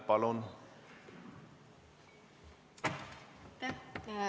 Palun!